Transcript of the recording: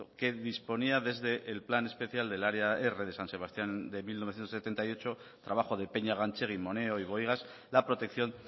que disponía desde el plan especial del área r de san sebastián de mil novecientos setenta y ocho trabajo de peña ganchegui moneo y bohigas la protección